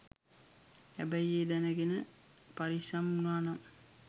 හැබැයි ඒ දැනගෙන පරිස්සම් වුනානම්